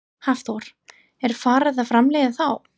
Hafþór: Er farið að framleiða þá?